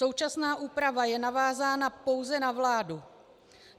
Současná úprava je navázána pouze na vládu.